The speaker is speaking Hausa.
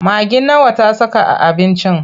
Magi nawa ta saka a abincin?